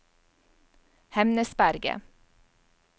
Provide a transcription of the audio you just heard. Hemnesberget